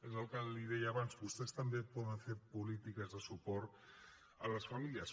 és el que li deia abans vostès també poden fer polítiques de suport a les famílies